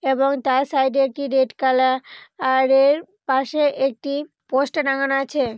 এবং তার সাইড -এ একটি রেড কালা আ-রের পাশে একটি পোস্টার টাঙানো আছে।